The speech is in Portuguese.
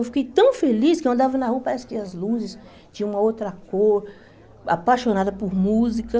Eu fiquei tão feliz que eu andava na rua, parece que as luzes tinham uma outra cor, apaixonada por música.